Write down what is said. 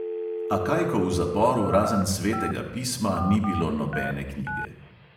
A kaj, ko v zaporu razen svetega pisma ni bilo nobene knjige.